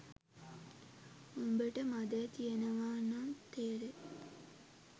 උඹට මදේ තියෙනවා නම් තේරෙයි